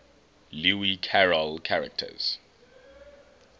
lewis carroll characters